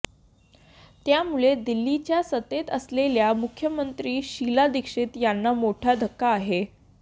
त्यामुळे दिल्लीच्या सत्तेत असलेल्या मुख्यमंत्री शीला दीक्षित यांना मोठा धक्का आहे